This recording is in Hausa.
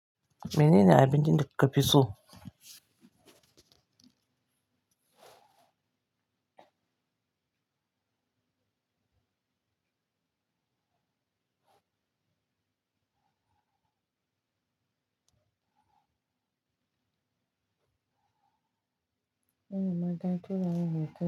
Menene abincin da kafi so?